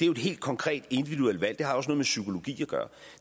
jo et helt konkret og individuelt valg det har også noget med psykologi at gøre